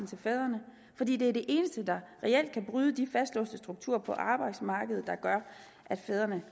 til fædrene fordi det er det eneste der reelt kan bryde de fastlåste strukturer på arbejdsmarkedet der gør at fædrene